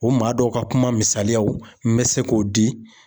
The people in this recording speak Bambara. O maa dɔw ka kuma misaliyaw n bɛ se k'o di